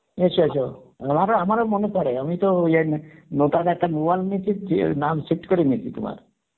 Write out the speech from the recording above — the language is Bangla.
এসো এসো আমারও মনে পড়ে আমি তো নতুন একটা mobile নিয়েছি, দিয়ে নাম set করে নিয়েছি তোমার